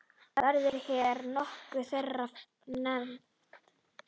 Verða hér nokkur þeirra nefnd.